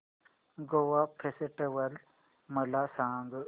Goa festival मला सांग